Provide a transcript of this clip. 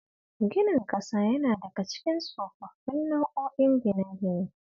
Ginin ƙasa yana daka cikin tsofaffin nau'o'in gine-gine